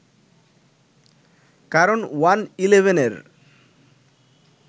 কারণ ওয়ান-ইলেভেনের